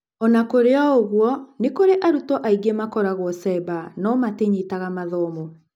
Ona kũrĩ o-ũguo, nĩ kũrĩ arutwo angĩ makoragwo cemba no matinyitaga mathomo.